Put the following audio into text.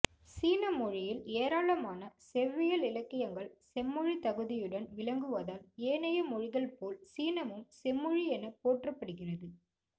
சீன மொழியில் ஏராளமான செவ்வியல் இலக்கியங்கள் செம்மொழித் தகுதியுடன் விளங்குவதால் ஏனைய மொழிகள் போல் சீனமும் செம்மொழி எனப் போற்றப்படுகிறது